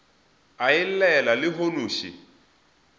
a e llela lehono še